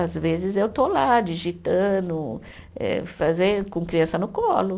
Às vezes eu estou lá digitando, eh fazendo, com criança no colo.